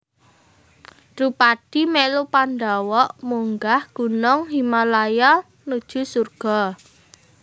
Drupadi melu Pandhawa munggah gunung Himalaya nuju surga